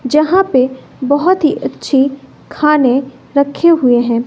जहां पे बहोत ही अच्छी खाने रखे हुए हैं।